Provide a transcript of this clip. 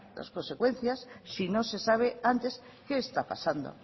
las consecuencias si no se sabe antes que está pasando